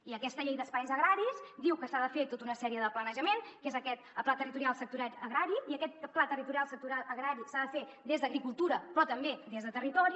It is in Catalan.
i aquesta llei d’espais agraris diu que s’ha de fer tota una sèrie de planejament que és aquest pla territorial sectorial agrari i aquest pla territorial sectorial agrari s’ha de fer des d’agricultura però també des de territori